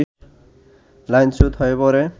লাইনচ্যুত হয়ে পড়ে